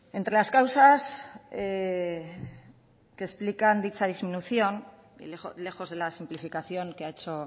entre las causas que explican dicha disminución lejos de la simplificación que ha hecho